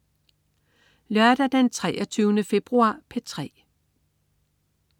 Lørdag den 23. februar - P3: